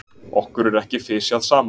okkur er ekki fisjað saman!